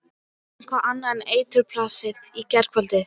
Eitthvað annað en eiturbrasið í gærkvöldi.